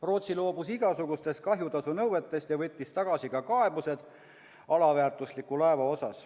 Rootsi loobus igasugustest kahjutasunõuetest ja võttis tagasi ka kaebused alaväärtusliku laeva kohta.